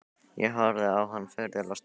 Ég horfði á hann furðu lostinn.